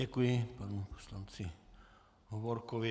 Děkuji panu poslanci Hovorkovi.